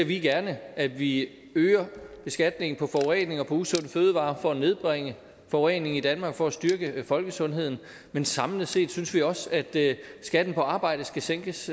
vi gerne at vi øger beskatningen på forurening og på usunde fødevarer for at nedbringe forureningen i danmark og for at styrke folkesundheden men samlet set synes vi også at skatten på arbejde skal sænkes